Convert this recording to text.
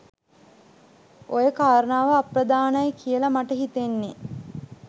ඔය කාරණාව අප්‍රධානයි කියල මට හිතෙන්නෙ.